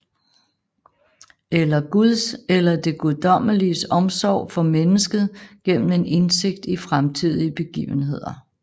Eller guds eller det guddommeliges omsorg for mennesket gennem en indsigt i fremtidige begivenheder